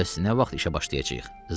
Bəs nə vaxt işə başlayacağıq?